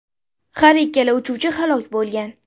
Har ikkala uchuvchi halok bo‘lgan.